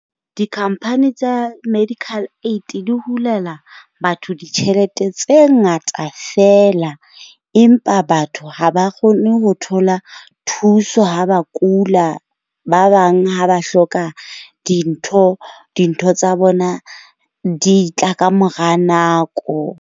Di-company tsa medical aid di hulela batho ditjhelete tse ngata feela empa, batho ha ba kgone ho thola thuso ha ba kula. Ba bang ha ba hloka dintho, dintho tsa bona di tla kamora nako.